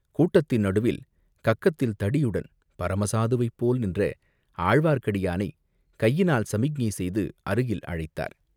கூட்டத்தின் நடுவில் கக்கத்தில் தடியுடன் பரம சாதுவைப்போல் நின்ற ஆழ்வார்க்கடியானைக் கையினால் சமிக்ஞை செய்து அருகில் அழைத்தார்.